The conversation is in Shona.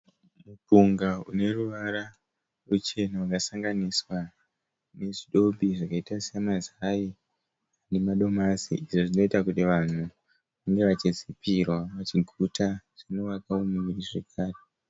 Mupunga uneruvara ruchena wakasanganiswa nezvidobi zvakaita semazai nemadomasi, izvo zvinoita kuti vanhu vange vachizipirwa vachiguta, zvinovakawo muviri zvekare